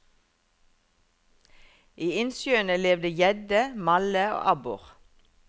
I innsjøene levde gjedde, malle og abbor.